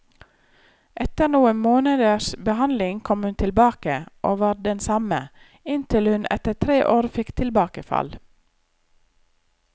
Etter noen måneders behandling kom hun tilbake, og var den samme, inntil hun etter tre år fikk tilbakefall.